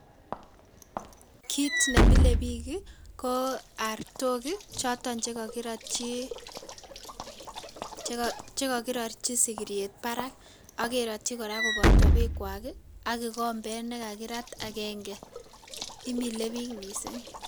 Kiit ne mile biik ii ko artok ii choton che kakirotyi sigiriet barak ak kerotyi kora koboto beekwak ii ak kikombet ne kakirat akenge, imile biik mising.